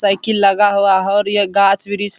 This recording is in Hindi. साइकिल लगा हुआ है और यह गाछ-वृक्ष --